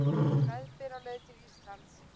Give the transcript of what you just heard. Meðbyr á leið til Íslands